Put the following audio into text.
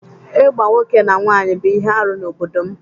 Ịgba nwoke na nwaanyị bụ ihe arụ n’obodo m